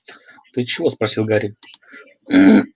ты чего спросил гарри